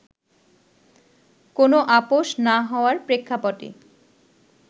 কোন আপস না হওয়ার প্রেক্ষাপটে